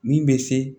Min bɛ se